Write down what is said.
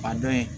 A dɔn in